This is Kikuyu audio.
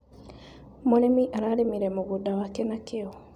Mũrĩmi ararĩmire mũgũnda wake na kĩo.